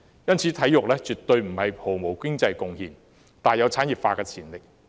因此，體育絕對不是毫無經濟貢獻的，而是大有產業化的潛力。